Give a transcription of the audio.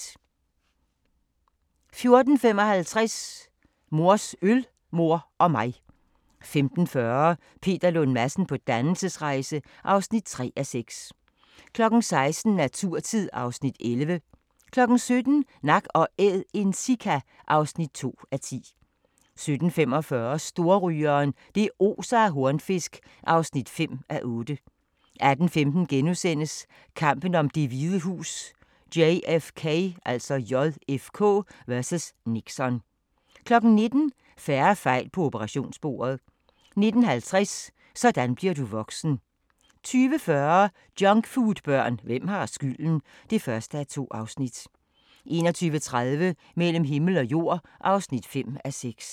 14:55: Mors øl, mor og mig 15:40: Peter Lund Madsen på dannelsesrejse (3:6) 16:00: Naturtid (Afs. 11) 17:00: Nak & Æd – en sika (2:10) 17:45: Storrygeren – det oser af hornfisk (5:8) 18:15: Kampen om Det Hvide Hus: JFK vs. Nixon * 19:00: Færre fejl på operationsbordet 19:50: Sådan bliver du voksen 20:40: Junkfoodbørn – hvem har skylden? (1:2) 21:30: Mellem himmel og jord (5:6)